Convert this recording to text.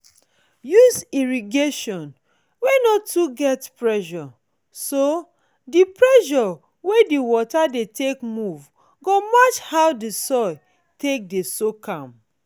use irrigation wey no too get pressure so di pressure wey di water dey take move go match how di soil dey soak am